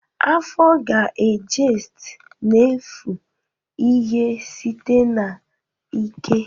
Afo ga-ejest n'efu ihe site na ike